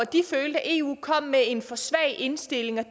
de følte at eu kom med en for svag indstilling